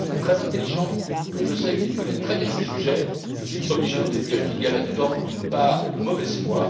Lamberts est très intelligent et qu'il connaît très bien ces sujets, je suis obligé d'en déduire qu'il y a sur ce point une part de mauvaise foi.